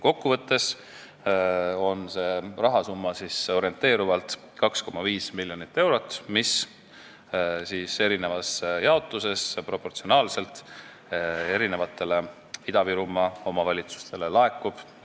Kokkuvõtteks, see rahasumma on orienteerivalt 2,5 miljonit eurot, mis erinevas jaotuses proportsionaalselt Ida-Virumaa omavalitsustele laekub.